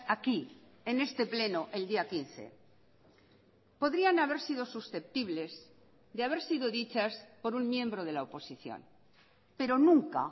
aquí en este pleno el día quince podrían haber sido susceptibles de haber sido dichas por un miembro de la oposición pero nunca